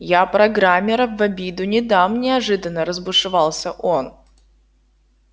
я программеров в обиду не дам неожиданно разбушевался он